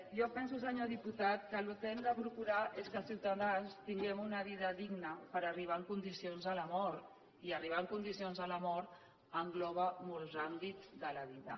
jo penso senyor diputat que el que hem de procurar és que els ciutadans tinguem una vida digna per arribar en condicions a la mort i arribar en condicions a la mort engloba molts àmbits de la vida